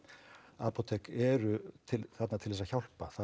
apótek eru þarna til þess að hjálpa